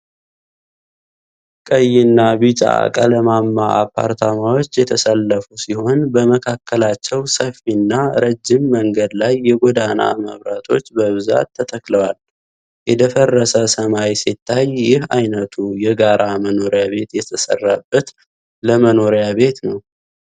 ቀይና ቢጫ ቀለማማ አፓርታማዎች የተሰለፉ ሲሆን፣ በመካከላቸው ሰፊና ረጅም መንገድ ላይ የጎዳና መብራቶች በብዛት ተተክለዋል:: የደፈርሰ ሰማይ ሲታይ፣ ይህ ዓይነቱ የጋራ መኖሪያ ቤት የተሰራበት ለመኖሪያ ቤት ነው፡፡